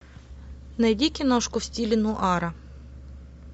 найди киношку в стиле нуара